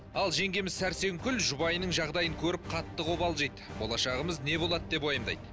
ал жеңгеміз сәрсенгүл жұбайының жағдайын көріп қатты қобалжиды болашағымыз не болады деп уайымдайды